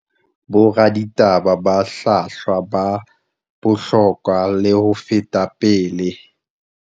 Boraditaba ba hlwahlwa ba bohlokwa le ho feta pele